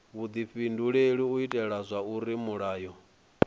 vhudifhinduleli u itela zwauri mulayo